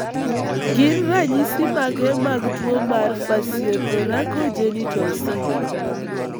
Gin ranyisi mage mag tuo mar Facio thoraco genital syndrome?